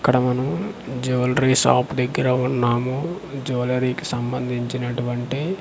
ఇక్కడ మనము jewellery shop దగ్గిర వున్నాము జూలరీ కి సంబందించినటువంటి.